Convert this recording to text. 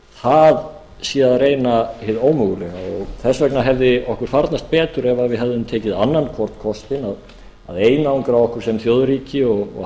það sé að reyna hið ómögulega og þess vegna hefði okkur farnast betur ef við hefðum tekið annan hvort kostinn að einangra okkur sem þjóðríki og